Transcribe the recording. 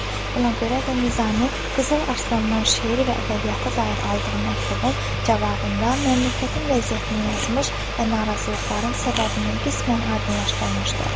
Buna görə də Nizami Qızıl Arslan-dan şeir və ədəbiyyata dair aldığı məktubun cavabında məmləkətin vəziyyətini yazmış və narazılıqların səbəbini qismən aydınlaşdırmışdı.